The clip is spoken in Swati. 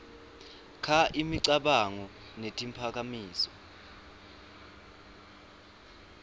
kha imicabango netiphakamiso